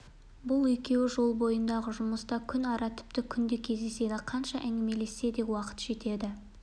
бұл екеуі жол бойындағы жұмыста күн ара тіпті күнде кездеседі қанша әңгімелессе де уақыт жетеді